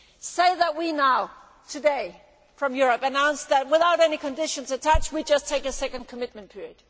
Say that we now, today, from Europe announced that, without any conditions attached, we would just take a second commitment period.